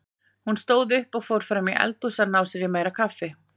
Hún stóð upp og fór fram í eldhús að ná sér í meira kaffi.